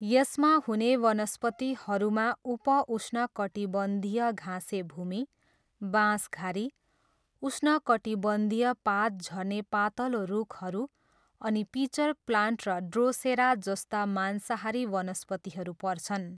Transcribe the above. यसमा हुने वनस्पतिहरूमा उप उष्णकटिबन्धीय घाँसे भूमि, बाँसघारी, उष्णकटिबन्धीय पात झर्ने पातलो रुखहरू अनि पिचर प्लान्ट र ड्रोसेरा जस्ता मांसाहारी वनस्पतिहरू पर्छन्।